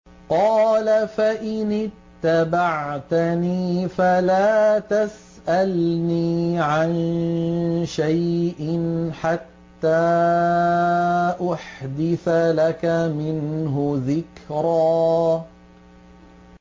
قَالَ فَإِنِ اتَّبَعْتَنِي فَلَا تَسْأَلْنِي عَن شَيْءٍ حَتَّىٰ أُحْدِثَ لَكَ مِنْهُ ذِكْرًا